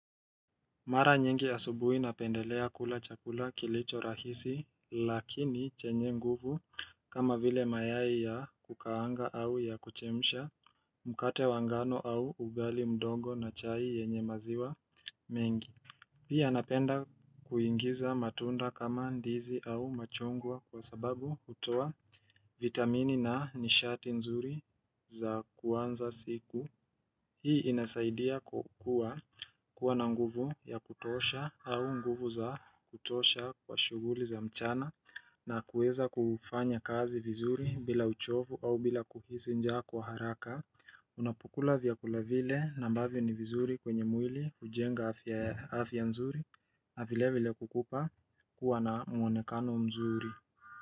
Mara nyingi asubuhi napendelea kula chakula kilicho rahisi lakini chenye nguvu kama vile mayai ya kukaanga au ya kuchemisha mkate wangano au ugali mdogo na chai yenye maziwa mengi. Pia napenda kuingiza matunda kama ndizi au machungwa kwa sababu hutoa vitamini na nishati nzuri za kuanza siku Hii inasaidia kukua kuwa na nguvu ya kutosha au nguvu za kutosha kwa shughuli za mchana na kuweza kufanya kazi vizuri bila uchovu au bila kuhisi njaa kwa haraka Unapokula vyakula vile na ambavyo ni vizuri kwenye mwili hujenga afya nzuri navile vile kukupa kuwa na mwonekano mzuri.